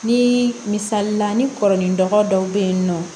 Ni misalila ni kɔrɔ ni dɔgɔ dɔw bɛ yen nɔ